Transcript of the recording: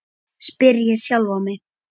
spyr ég sjálfan mig.